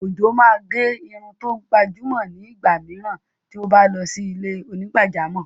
Ojo máa gẹ irun tó gbajúmọ̀ ni igba mìíràn tí ó bá lọ sí ilé onígbàjámọ̀.